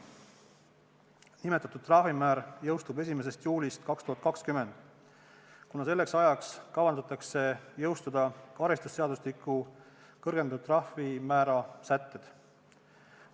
Nimetatud trahvimäär jõustub 1. juulil 2020, kuna selleks ajaks kavandatakse jõustada karistusseadustiku kõrgendatud trahvimäära sätted.